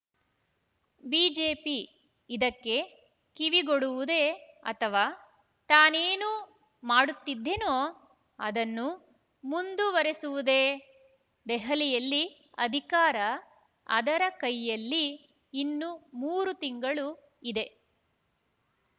BJP ಇದಕ್ಕೆ ಕಿವಿಗೊಡುವುದೇ ಅಥವಾ ತಾನೇನು ಮಾಡುತ್ತಿದ್ದೇನೋ ಅದನ್ನು ಮುಂದುವರೆಸುವುದೇ ದೆಹಲಿಯಲ್ಲಿ ಅಧಿಕಾರ ಅದರ ಕೈಯಲ್ಲಿ ಇನ್ನು ಮೂರು ತಿಂಗಳು ಇದೆ